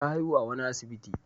Ta haihu a wani asibiti.